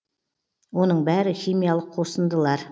оның бәрі химиялық қосындылар